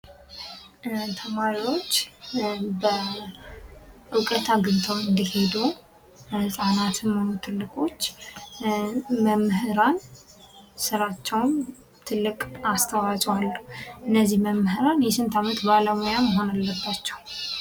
ተማሪወች እውቀት አግኝተው እንዲሄዱ ለህፃናትም ሆነ ትልቆች መምህራን ስራቸውም ትልቅ አስተዋጽኦ አለው። እነዚህ መምህራን የስንት አመት ባለሙያ መሆን አለባቸው?